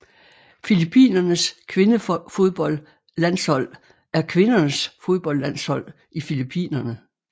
Filippinernes kvindefodboldlandshold er kvindernes fodboldlandshold i Filippinerne